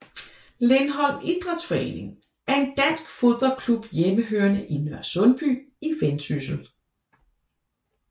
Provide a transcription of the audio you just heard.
Lindholm Idrætsforening er en dansk fodboldklub hjemmehørende i Nørresundby i Vendsyssel